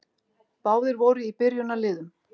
Báðir voru í byrjunarliðum.